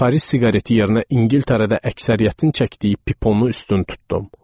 Paris siqareti yerinə İngiltərədə əksəriyyətin çəkdiyi piponu üstün tutdum.